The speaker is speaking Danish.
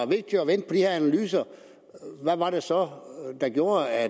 vigtigt at vente på de her analyser hvad var det så der gjorde at